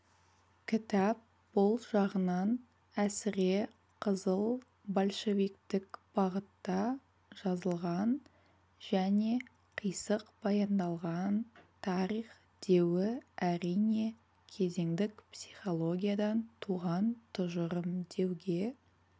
кітап бұл жағынан әсіре қызыл большевиктік бағытта жазылған және қисық баяндалған тарих деуі әрине кезеңдік психологиядан туған тұжырым деуге